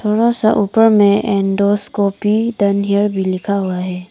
थोड़ा सा ऊपर में एंडोस्कोपी डन हेयर भी लिखा हुआ है।